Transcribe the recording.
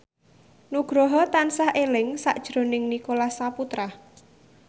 Nugroho tansah eling sakjroning Nicholas Saputra